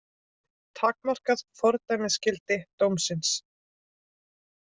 Takmarkað fordæmisgildi dómsins